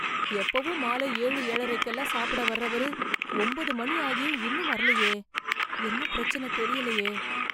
எப்பவும் மாலை ஏழு ஏழரைக்கெல்லாம் சாப்பிட வர்றவரு, ஒன்பது மணி ஆகியும் இன்னும் வரலயே... என்ன பிரச்சன தெரியலையே...